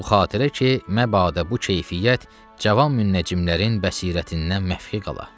Bu xatirə ki, məbada bu keyfiyyət cavan münnəcimlərin bəsirətindən məfi qala.